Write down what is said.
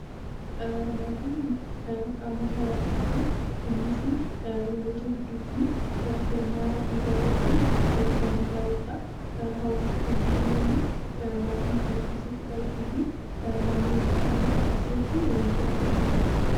Maatiin qaama hawaasaati. Innis namoota gidduutti firummaa dhiigaa irratti kan hundaa'udha. Hawaasa kan jennu immoo maatii kan of keessatti qabatee fi naannawaa murtaa'aa tokko keessatti waliin jiraatanidha.